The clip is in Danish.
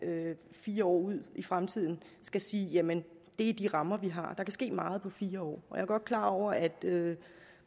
fire år ud i fremtiden skal sige jamen det er de rammer vi har der kan ske meget på fire år og jeg er godt klar over at